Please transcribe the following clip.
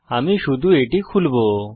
আমি শুধু এটি খুলবো